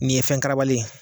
Nin ye fɛn karabalen